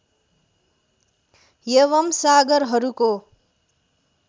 एवम् सागरहरूको